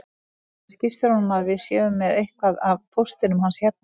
Segðu skipstjóranum að við séum með eitthvað af póstinum hans hérna